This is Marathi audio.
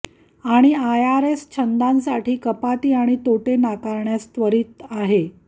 आणि आयआरएस छंदांसाठी कपाती आणि तोटे नाकारण्यास त्वरित आहे